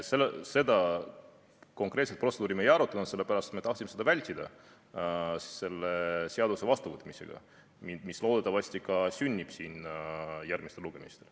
Seda konkreetset protseduuri me ei arutanud, sellepärast et me tahtsime seda vältida selle seaduse vastuvõtmisega, mis loodetavasti ka sünnib siin järgmistel lugemistel.